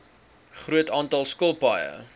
groot aantal skilpaaie